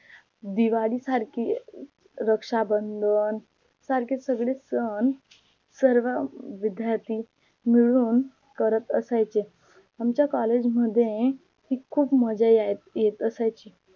दिवाळी सारखी रक्षा बंधन सारखे सगडे सन सर्व विध्यार्थी मिळून करत असायचे आमच्या COLLEGE मध्ये खूप मज्जा येत असायची